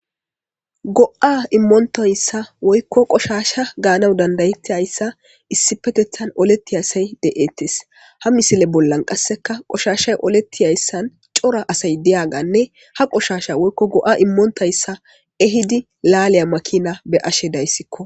Go'a immontayssa woykko qoshasha ganaw danddayetiyayssa issipetethan oletiya asay de'ettes ha misile bollan qasikka qoshashayi oletiyayssan cora asay diyagganne ha qoshshasha woykko go'a immontayssa ehhidi laliya maakina beyashe dayssikko